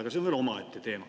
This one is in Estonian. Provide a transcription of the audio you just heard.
Aga see on veel omaette teema.